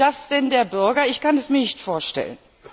Will das denn der Bürger? Ich kann es mir nicht vorstellen.